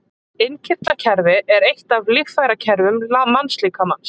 Innkirtlakerfi er eitt af líffærakerfum mannslíkamans.